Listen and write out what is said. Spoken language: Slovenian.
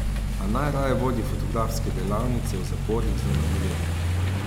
A najraje vodi fotografske delavnice v zaporih za mladoletnike.